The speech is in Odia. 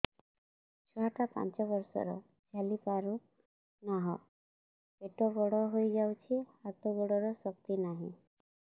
ଛୁଆଟା ପାଞ୍ଚ ବର୍ଷର ଚାଲି ପାରୁନାହଁ ପେଟ ବଡ ହୋଇ ଯାଉଛି ହାତ ଗୋଡ଼ର ଶକ୍ତି ନାହିଁ